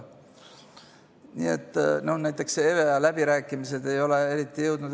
Näiteks EVEA läbirääkimised ei ole eriti edasi jõudnud.